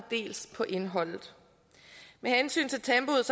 dels på indholdet med hensyn til tempoet